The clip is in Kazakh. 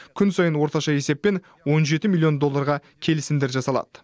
күн сайын орташа есеппен он жеті миллион долларға келісімдер жасалады